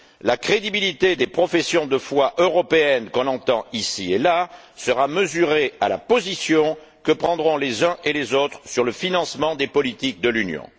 La crédibilité des professions de foi européennes, qu'on entend ici et là, sera mesurée à la position que prendront les uns et les autres sur le financement des politiques de l'Union.